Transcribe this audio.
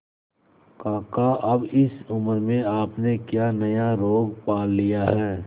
काका अब इस उम्र में आपने क्या नया रोग पाल लिया है